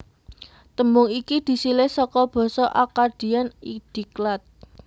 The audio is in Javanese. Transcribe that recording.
Tembung iki disilih saka basa Akkadian Idiqlat